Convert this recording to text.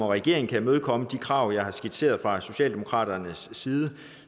regeringen kan imødekomme de krav jeg har skitseret fra socialdemokratiets side